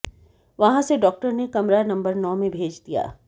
वहां से डॉक्टर ने कमरा नंबर नौ में भेज दिया